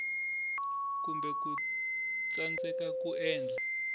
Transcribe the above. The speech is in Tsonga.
kumbe ku tsandzeka ku endla